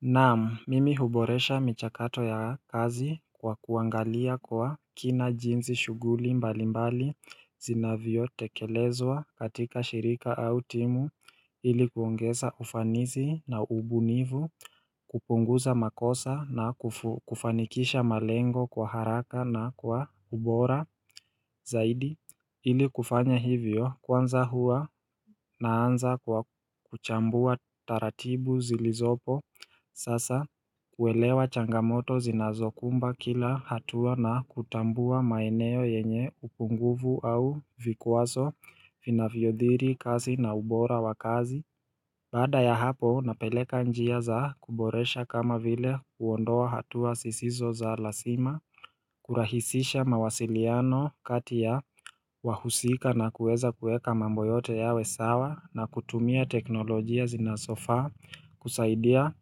Naam, mimi huboresha michakato ya kazi kwa kuangalia kwa kina jinsi shughuli mbalimbali zinavyotekelezwa katika shirika au timu iliku kuongeza ufanisi na ubunifu, kupunguza makosa na kufanikisha malengo kwa haraka na kwa ubora zaidi Ili kufanya hivyo kwanza hua naanza kwa kuchambua taratibu zilizopo Sasa kuelewa changamoto zinazokumba kila hatua na kutambua maeneo yenye upungufu au vikwazo Vinavyoadhiri kazi na ubora wa kazi Baada ya hapo napeleka njia za kuboresha kama vile kuondoa hatua sisizo za lazima kurahisisha mawasiliano kati ya wahusika na kuweza kuweka mambo yote yawe sawa na kutumia teknolojia zinazofaa kusaidia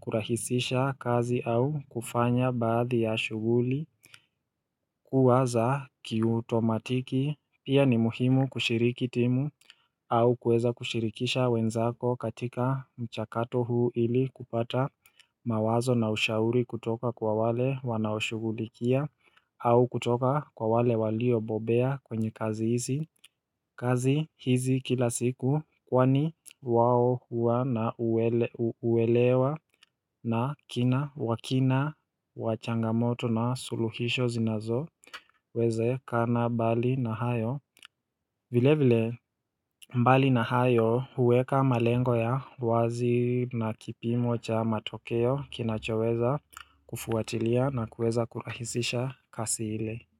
kurahisisha kazi au kufanya baadhi ya shuguli kuwaza kiutomatiki pia ni muhimu kushiriki timu au kuweza kushirikisha wenzako katika mchakato huu ili kupata mawazo na ushauri kutoka kwa wale wanaoshugulikia au kutoka kwa wale waliobobea kwenye kazi hizi kazi hizi kila siku kwani wao hua na uelewa na kina wakina wachangamoto na suluhisho zinazowezekana bali na hayo vilevile mbali na hayo huweka malengo ya wazi na kipimo cha matokeo kinachoweza kufuatilia na kueza kurahisisha kazi ile.